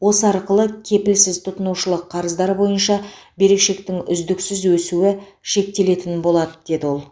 осы арқылы кепілсіз тұтынушылық қарыздар бойынша берешектің үздіксіз өсуі шектелетін болады деді ол